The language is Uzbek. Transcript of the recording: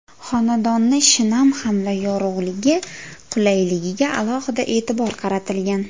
Xonadonni shinam hamda yorug‘ligi, qulayligiga alohida e’tibor qaratilgan.